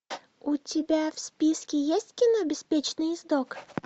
у тебя в списке есть кино беспечный ездок